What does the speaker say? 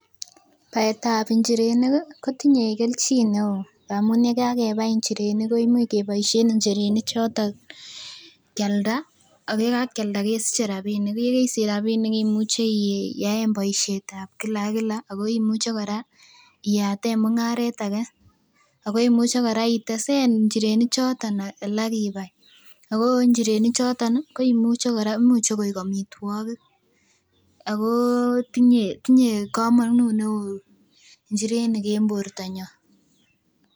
Baetab njirenik ih kotinye kelchin neoo amun yekakebai njirenik koimuch keboisien njirenik choto kialda ak yekakialda kesiche rapinik ko yekeisich rapinik imuche iyaen boisietab kila ak kila ako imuche kora iyaten mung'aret age ako imuche kora itesen njirenik choto alak ibai ako njirenik choton ih koimuche kora imuche koik amitwogik ako tinye komonut neoo njirenik en bortonyon